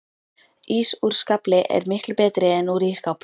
Ís úr skafli er miklu betri en úr ísskáp